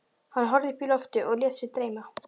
Hann horfði upp í loftið og lét sig dreyma.